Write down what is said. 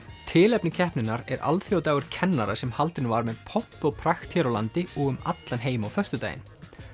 tilefni keppninnar er alþjóðadagur kennara sem haldinn var með pomp og prakt hér á landi og um allan heim á föstudaginn